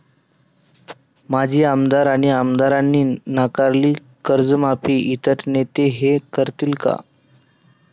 माजी आमदार आणि आमदारांनी नाकारली कर्जमाफी, इतर नेते हे करतील का?